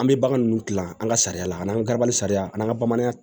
An bɛ bagan ninnu dilan an ka sariya la n'an garabali sariya an ka bamananya